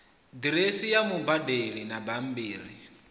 diresi ya mubadeli na bambiri